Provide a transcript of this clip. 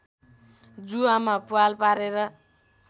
जुवामा प्वाल पारेर